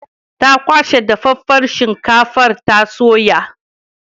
Ta kwashe dafaffen shinkafar ta soya.